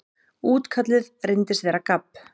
Útkallið reyndist vera gabb.